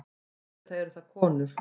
Auðvitað eru það konur.